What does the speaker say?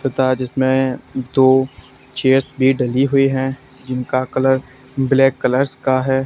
तथा जिसमें दो चेयर्स भी डली हुई है जिनका कलर ब्लैक कलर्स का है।